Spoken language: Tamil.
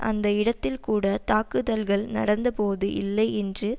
அந்த இடத்தில் கூட தாக்குதல்கள் நடந்தபோது இல்லை என்று